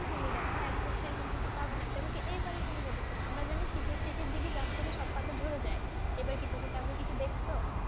তুমি দেখ এখন সেরকম কিছু পাবে না যেমন কি এবারে তুমি notice করো, আমরা জানি শীতের শেষের দিকে গাছের সব পাতা ঝরে যায় এবারে কি তুমি তেমন কিছু দেখছ?